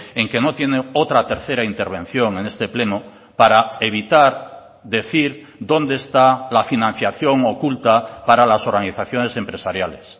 en que no tiene otra tercera intervención en este pleno para evitar decir dónde está la financiación oculta para las organizaciones empresariales